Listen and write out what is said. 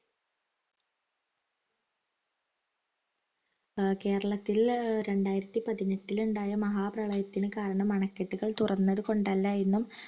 ആഹ് കേരളത്തിലെ രണ്ടായിരത്തി പതിനെട്ടിലുണ്ടായ മഹാ പ്രളയത്തിന് കാരണം അണക്കെട്ടുകൾ തുറന്നതു കൊണ്ടല്ലായെന്നും